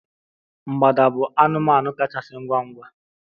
mgbada bụ anụmanụ kachasị ngwa ngwa